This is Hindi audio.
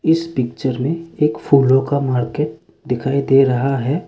इस पिक्चर में एक फूलों का मार्केट दिखाई दे रहा है।